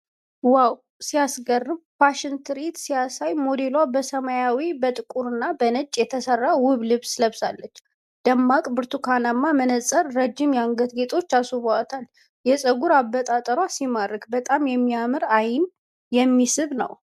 ዋው ሲያስገርም! ፋሽን ትርኢት ሲያሳይ! ሞዴሏ በሰማያዊ፣ በጥቁርና በነጭ የተሰራ ውብ ልብስ ለብሳለች። ደማቅ ብርቱካናማ መነፅርና ረዥም የአንገት ጌጦች አስውበውታል። የፀጉር አበጣጠሯ ሲማርክ! በጣም የሚያምርና ዓይን የሚስብ ነው።